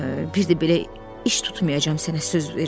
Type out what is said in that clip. Bir də belə iş tutmayacam, sənə söz verirəm.